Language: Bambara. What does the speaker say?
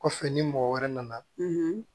Kɔfɛ ni mɔgɔ wɛrɛ nana